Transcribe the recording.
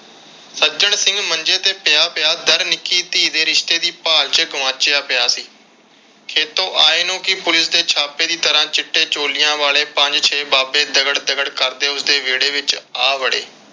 ਸੱਜਣ ਸਿੰਘ ਮੰਜੇ ਤੇ ਪਿਆ ਪਿਆ ਦੱਰ ਨਿੱਕੀ ਧੀ ਦੇ ਰਿਸ਼ਤੇ ਦੀ ਭਾਲ ਵਿਚ ਗੁਆਚਿਆ ਪਿਆ ਸੀ। ਖੇਤੋਂ ਆਏ ਨੂੰ ਪੁਲਿਸ ਦੇ ਛਾਪੇ ਦੀ ਤਰ੍ਹਾਂ ਚਿੱਟੇ ਛੋਲਿਆਂ ਵਾਲੇ ਪੰਜ ਛੇ ਬਾਬੇ ਦਗੜ ਦਗੜ ਕਰਦੇ ਉਸਦੇ ਵਿਹੜੇ ਵਿਚ ਆ ਵੜੇ।